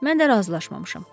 Mən də razılaşmamışam.